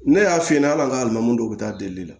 Ne y'a f'i ɲɛna ala an ka lɔgɔ don u bɛ taa delili la